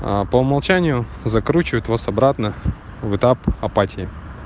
по умолчанию закручивают вас обратно в этап апатии